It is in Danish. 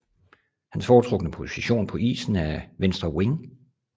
Hans foretrukne position på isen er venstre wing